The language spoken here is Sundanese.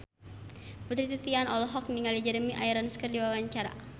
Putri Titian olohok ningali Jeremy Irons keur diwawancara